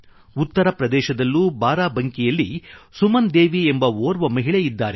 ಉತ್ತರ ಪ್ರದೇಶದಲ್ಲೂ ಬಾರಾಬಂಕಿಯಲ್ಲಿ ಸುಮನ್ ದೇವಿ ಎಂಬ ಓರ್ವ ಮಹಿಳೆ ಇದ್ದಾರೆ